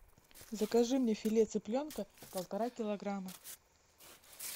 закажи мне филе цыпленка полтора килограмма